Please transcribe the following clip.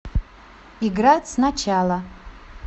играть сначала